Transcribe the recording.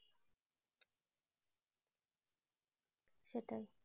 সেটাই